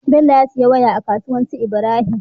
Bello ya siya waya a kasuwar su ibrahim